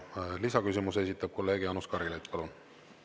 Ja lisaküsimuse esitab kolleeg Jaanus Karilaid, palun!